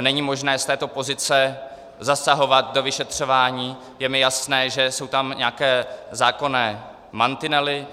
není možné z této pozice zasahovat do vyšetřování, je mi jasné, že jsou tam nějaké zákonné mantinely.